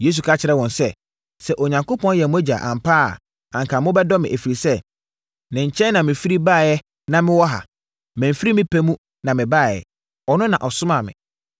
Yesu ka kyerɛɛ wɔn sɛ, “Sɛ Onyankopɔn yɛ mo Agya ampa ara a anka mobɛdɔ me, ɛfiri sɛ, ne nkyɛn na mefiri baeɛ na mewɔ ha. Mamfiri me pɛ mu na mebaeɛ; ɔno na ɔsomaa me.